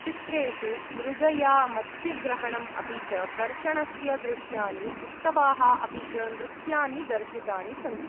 चित्रेषु मृगया, मत्स्यग्रहणम् अपि च कर्षणस्य दृश्यानि, उत्सवाः अपि च नृत्यानि दर्शितानि सन्ति।